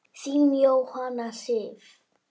Þín, Jóhanna Sif.